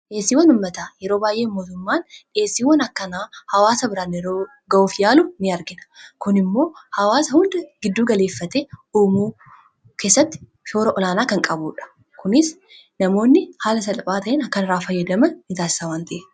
Dhiyeessiiwwan uummataa yeroo baay'ee mootummaan hawaasa biraan ga'uuf yaalu argina kun immoo hawaasa hunda gidduu galeeffate jirenya ummata keessatti shoora olaanaa kan qabuudha.